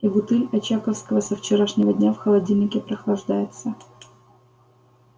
и бутыль очаковского со вчерашнего дня в холодильнике прохлаждается